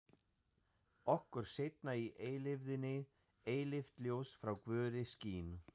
Okkur seinna í eilífðinni eilíft ljós frá Guði skín.